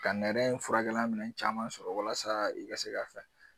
Ka nɛrɛ in furakɛlan minɛn caman sɔrɔ walasa i ka se ka fɛn